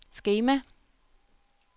skema